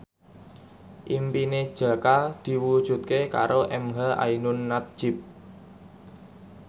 impine Jaka diwujudke karo emha ainun nadjib